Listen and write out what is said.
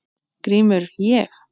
GRÍMUR: Ég?